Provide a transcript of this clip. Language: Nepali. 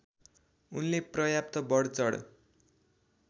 उनले पर्याप्त बढचढ